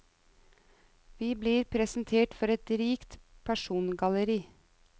Vi blir presentert for et rikt persongalleri.